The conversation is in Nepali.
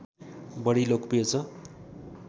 बढी लोकप्रिय छ